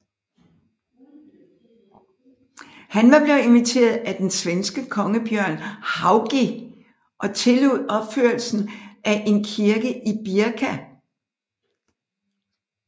Han var blevet inviteret af den svenske konge Bjørn Haugi og tillod opførelsen af en kirke i Birka